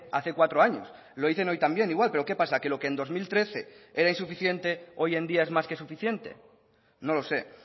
hace cuatro años lo dicen hoy también igual pero qué pasa que lo que en dos mil trece era insuficiente hoy en día es más que suficiente no lo sé